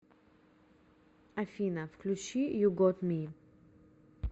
афина включи ю гот ми